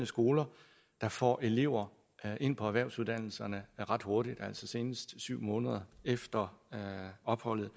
skoler der får elever ind på erhvervsuddannelserne ret hurtigt altså senest syv måneder efter opholdet